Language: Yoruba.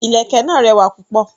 Ìlẹ̀kẹ̀ náà rẹwà púpọ̀.